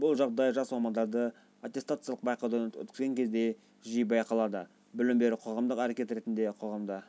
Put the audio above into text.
бұл жағдай жас мамандарды аттестациялық байқаудан өткізген кезде жиі байқалады білім беру қоғамдық әрекет ретінде қоғамда